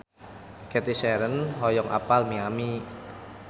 Cathy Sharon hoyong apal Miami